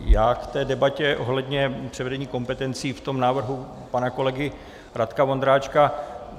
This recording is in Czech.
Já k té debatě ohledně převedení kompetencí v tom návrhu pana kolegy Radka Vondráčka.